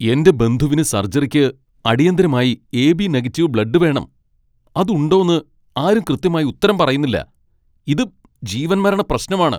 എന്റെ ബന്ധുവിന് സർജറിക്ക് അടിയന്തിരമായി എ.ബി. നെഗറ്റീവ് ബ്ലഡ് വേണം, അത് ഉണ്ടോന്ന് ആരും കൃത്യമായി ഉത്തരം പറയുന്നില്ല. ഇത് ജീവന്മരണ പ്രശ്നമാണ്!